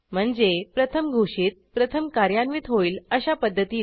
म्हणजे प्रथम घोषित प्रथम कार्यान्वित होईल अशा पध्दतीने